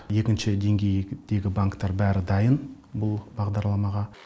екінші деңгейдегі банктар бәрі дайын бұл бағдарламаға